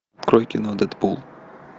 открой кино дэдпул